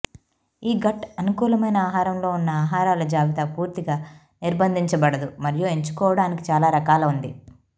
ఈ గట్ అనుకూలమైన ఆహారంలో ఉన్న ఆహారాల జాబితా పూర్తిగా నిర్బంధించబడదు మరియు ఎంచుకోవడానికి చాలా రకాల ఉంది